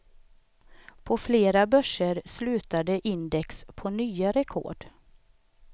På flera börser slutade index på nya rekord.